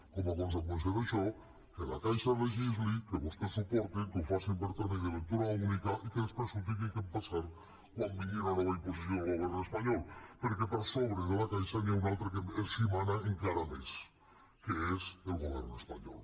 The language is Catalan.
com a conseqüència d’això que la caixa legisli que vostès ho portin que ho facin per tràmit de lectura única i que després s’ho tinguin d’empassar quan vingui una nova imposició del govern espanyol perquè per sobre de la caixa n’hi ha un altre que els mana encara més que és el govern espanyol